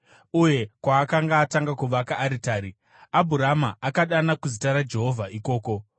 uye kwaakanga atanga kuvaka aritari. Abhurama akadana kuzita raJehovha ikoko.